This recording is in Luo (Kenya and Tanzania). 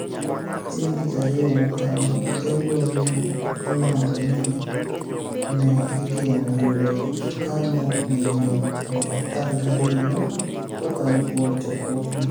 Chienig ' Tich Ariyo mokalo, Tembo ni e olanido nii ni e igeno yudo jokaniyo maniyieni 12,000 kokalo kuom chokruogno.